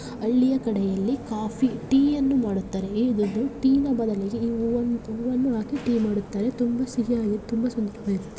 ಹಳ್ಳಿಯ ಕಡೆಯಲ್ಲಿ coffee tea ಯನ್ನು ಮಾಡುತ್ತಾರೆ. ಟೀ ಯ ಬದಲಿಗೆ ಈ ಹೂವನ್ನು ಹಾಕಿ ಟೀ ಮಾಡುತ್ತಾರೆ. ತುಂಬಾ ಸಿಹಿಯಾಗಿ ತುಂಬಾ ಸಂತೃಪ್ತಿಯಾಗಿರುತ್ತೆ.